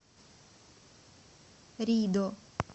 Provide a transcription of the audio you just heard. ридо